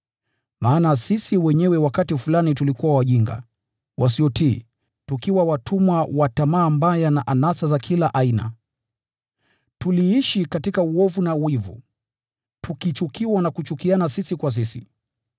Maana sisi wenyewe wakati fulani tulikuwa wajinga, wasiotii, tukiwa watumwa wa tamaa mbaya na anasa za kila aina. Tuliishi katika uovu na wivu, tukichukiwa na kuchukiana sisi kwa sisi.